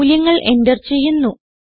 മൂല്യങ്ങൾ എന്റർ ചെയ്യുന്നു